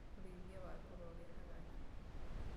ũrĩithia wa ngũrũwe ũrehaga nyama